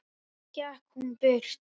Svo gekk hún burt.